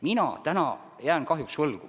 Mina täna jään kahjuks vastuse võlgu.